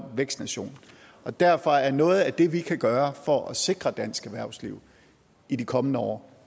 vækst nation og derfor er noget af det vi kan gøre for at sikre dansk erhvervsliv i de kommende år